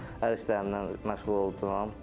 Hər işlərimlə məşğul oldum.